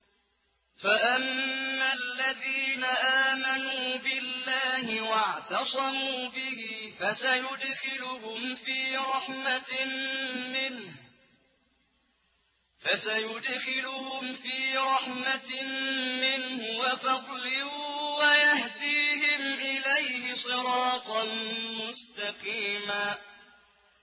فَأَمَّا الَّذِينَ آمَنُوا بِاللَّهِ وَاعْتَصَمُوا بِهِ فَسَيُدْخِلُهُمْ فِي رَحْمَةٍ مِّنْهُ وَفَضْلٍ وَيَهْدِيهِمْ إِلَيْهِ صِرَاطًا مُّسْتَقِيمًا